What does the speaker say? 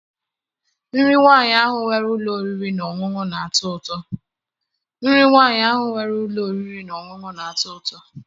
Nri nwaanyị ahụ nwere ụlọ oriri na ọṅụṅụ na- atọ ụtọ.